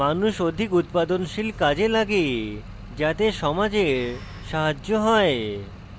মানুষ অধিক উৎপাদনশীল কাজে লাগে যাতে সমাজের সাহায্য হয়